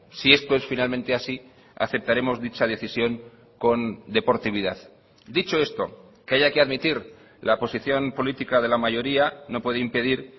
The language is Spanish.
si esto es finalmente así aceptaremos dicha decisión con deportividad dicho esto que haya que admitir la posición política de la mayoría no puede impedir